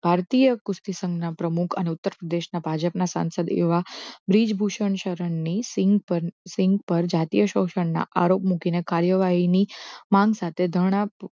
ભારતીય કુસ્તી સંઘના પ્રમુખ અને ઉત્તર પ્રદેશના ભાજપના સાંસદ એવા બ્રીજભૂષણ શરણની સિંગ પર જાતીય શોષણના આરોપ મૂકીને કાર્યવાહી ની માંગ સાથે ધારણા